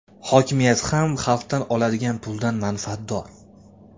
Hokimiyat ham xalqdan oladigan puldan manfaatdor.